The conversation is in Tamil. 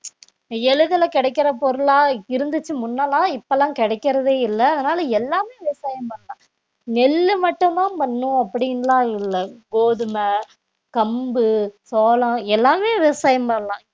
எளிதில கிடைக்கிற பொருளா இருந்துச்சு முன்ன எல்லாம் இப்ப எல்லாம் கிடைக்கிறதே இல்ல அதனால எல்லாமே விவசாயம் பண்ணலாம் நெல்லு மட்டுதான் பண்ணும் அப்படின்னுலாம் இல்ல கோதுமை, கம்பு, சோளம் எல்லாமே விவசாயம் பண்ணலாம்